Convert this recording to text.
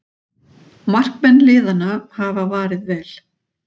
Markmenn liðanna hafa varið vel